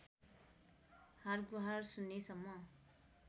हारगुहार सुन्नेसम्म